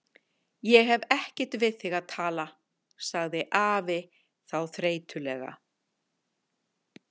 Ég hef ekkert við þig að tala, sagði afi þá þreytulega.